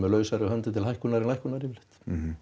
lausari hönd til hækkunar en lækkunar yfirleitt